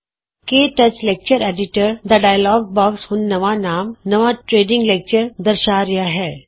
ਕੇ touch lecture editor ਦਾ dialogue box ਹੁਣ ਨਵਾਂ ਨਾਮ ਨਵਾਂ ਟਰੇਨਿੰਗ ਲੈਕਚਰ ਦਰਸ਼ਾ ਰਿਹਾ ਹੈ